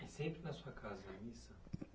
E sempre na sua casa a missa?